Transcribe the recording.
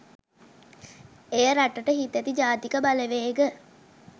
එය රටට හිතැති ජාතික බලවේග